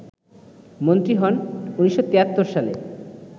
মন্ত্রী হন ১৯৭৩ সালে